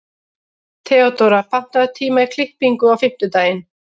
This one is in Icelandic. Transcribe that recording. Theodóra, pantaðu tíma í klippingu á fimmtudaginn.